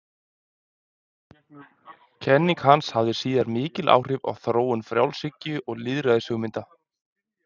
Kenning hans hafði síðar mikil áhrif á þróun frjálshyggju og lýðræðishugmynda.